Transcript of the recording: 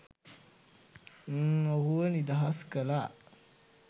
න් ඔහුව නිදහස් කළා.